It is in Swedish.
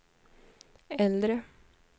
äldre